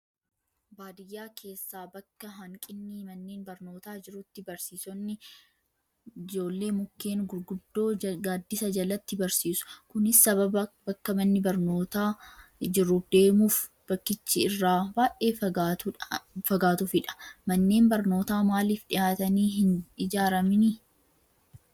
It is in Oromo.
Baadiyyaa keessaa bakka hanqinni manneen barnootaa jirutti barsiisonni ijoollee mukkeen gurguddoo gaaddisa jalatti barsiisu. Kunis sababa bakka manni barnootaa jiru deemuuf bakkichi irraa baay'ee fagaatuufidha. Manneen barnootaa maaliif dhiyaatanii hin ijaaramanii?